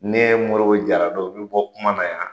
Ne Moribo Jara don, n bi bɔ kuma na yan.